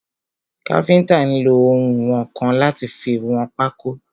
Káfíntà nlo ounwọ̀nkan láti fi wọn pákó.